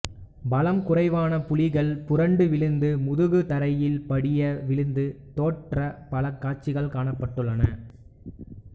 பலம் குறைவான புலிகள் புரண்டு விழுந்து முதுகு தரையில் படிய விழுந்து தோற்ற பல காட்சிகள் காணப்பட்டுள்ளன